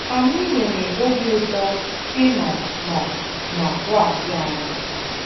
Anyị nwere obi ụtọ ị nọ nọ na klasi anyị!